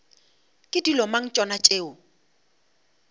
ke dilo mang tšona tšeo